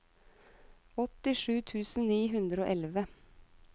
åttisju tusen ni hundre og elleve